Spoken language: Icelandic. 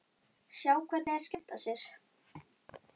Sjá hvernig þeir skemmta sér.